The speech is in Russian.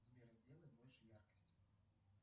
сбер сделай больше яркость